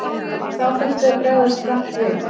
Þá þurfti að bregðast hratt við.